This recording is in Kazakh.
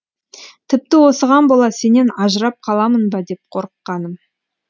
тіпті осыған бола сенен ажырап қаламын ба деп қорыққаным